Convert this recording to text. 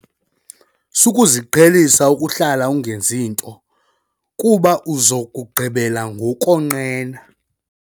Sukuziqhelisa ukuhlala ungenzi nto kuba uza kugqibela ngokonqena.